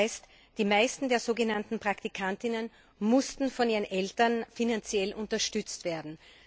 Das heißt, die meisten der sogenannten Praktikanten mussten von ihren Eltern finanziell unterstützt werden.